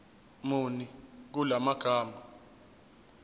muni kula magama